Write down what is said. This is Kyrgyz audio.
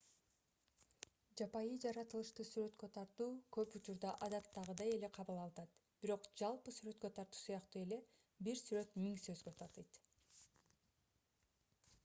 жапайы жаратылышты сүрөткө тартуу көп учурда адаттагыйдай эле кабыл алынат бирок жалпы сүрөткө тартуу сыяктуу эле бир сүрөт миң сөзгө татыйт